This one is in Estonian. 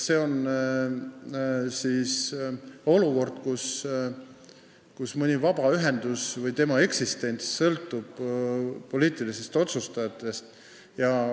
See on olukord, kus mõni vabaühendus või tema eksistents sõltub poliitilistest otsustajatest.